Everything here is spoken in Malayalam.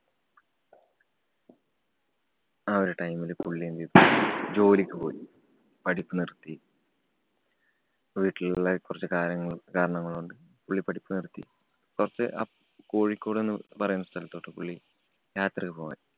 ആ ഒരു time ല് പുള്ളി എന്ത് ചെയ്തു, ജോലിക്ക് പോയി. പഠിപ്പ് നിര്‍ത്തി. വീട്ടിലുള്ള കൊറച്ച് കാര്യങ്ങള് കാരണങ്ങള് കൊണ്ട് പുള്ളി പഠിപ്പ് നിര്‍ത്തി. കൊറച്ച് അപ്~ കോഴിക്കോട് എന്ന് പറയുന്ന സ്ഥലത്തോട്ടു പുള്ളി യാത്ര പോവാന്‍